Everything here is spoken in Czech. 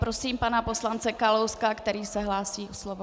Prosím pana poslance Kalouska, který se hlásí o slovo.